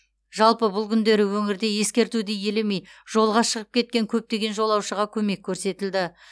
жалпы бұл күндері өңірде ескертуді елемей жолға шығып кеткен көптеген жолаушыға көмек көрсетілді